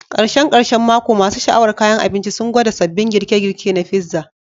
Karshen karshen mako, masu sha'awar kayan abinci sun gwada sabbin girke-girke na pizza.